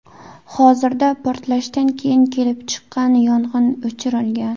Hozirda portlashdan keyin kelib chiqqan yong‘in o‘chirilgan.